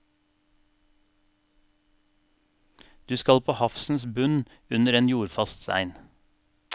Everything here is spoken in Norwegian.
Du skal på havsens bunn under en jordfast stein.